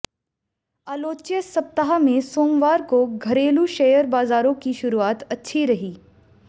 आलोच्य सप्ताह में सोमवार को घरेलू शेयर बाजारों की शुरुआत अच्छी रही